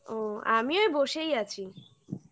ও আমিও বসেই আছি